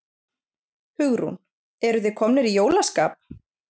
Hugrún: Eruð þið komnir í jólaskap?